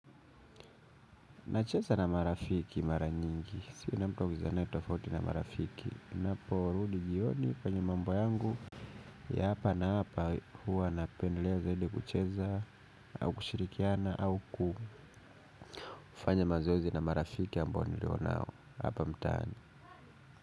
Nacheza na marafiki mara nyingi. Si kila mtu amezoeana tofauti na marafiki. Ninapo, Rudi jioni kwenye mambo yangu. Ya hapa na hapa huwa napendelea zaidi kucheza. Au kushirikiana au kufanya mazoezi na marafiki ambao nilio nao. Hapa mtaani.